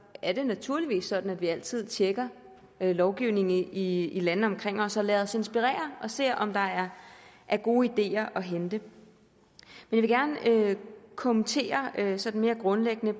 er det naturligvis sådan at vi altid tjekker lovgivningen i i landene omkring os og lader os inspirere og ser om der er er gode ideer at hente men jeg vil gerne kommentere sådan mere grundlæggende